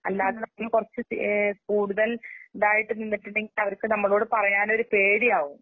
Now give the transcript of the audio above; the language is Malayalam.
അല്ലാത്ത കുറച്ച്തേ കൂടുതൽ ഇതായിട്ട്നിന്നുട്ടുണ്ടെങ്കി അവർക്ക്നമ്മളോട്പറയാനൊരുപേടിയാകും.